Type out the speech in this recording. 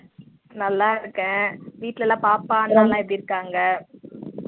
நல்லா இருக்கேன் வீட்ல எல்லாம் பாப்பா அண்ணா எப்படி இருக்காங்க